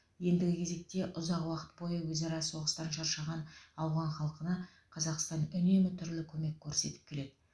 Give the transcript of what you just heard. ендігі кезекте ұзақ уақыт бойы өзара соғыстан шаршаған ауған халқына қазақстан үнемі түрлі көмек көрсетіп келеді